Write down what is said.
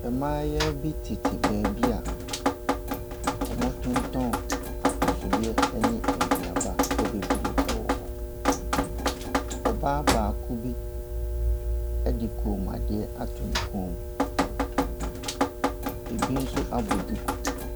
Mmaayewa bi tete baabi a wɔtontoɔn atosodeɛ ne aduaba bebree wɔ hɔ. Ɔbaa baako bi de kɔnmuadeɛ ato ne kɔn mu. Ɛbi nso abɔ duku.